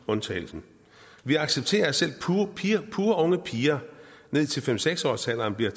undtagelsen vi accepterer at selv purunge piger ned til fem seks årsalderen bliver